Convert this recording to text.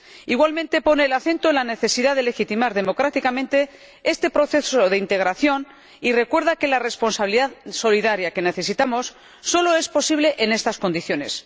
Igualmente pone el acento en la necesidad de legitimar democráticamente este proceso de integración y recuerda que la responsabilidad solidaria que necesitamos solo es posible en estas condiciones.